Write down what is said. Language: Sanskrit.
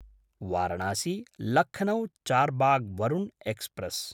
वारणासी लख्नौ चारबाग् वरुण एक्स्प्रेस्